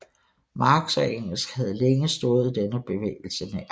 Marx og Engels havde længe stået denne bevægelse nær